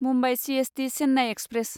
Mumbai CST Chennai express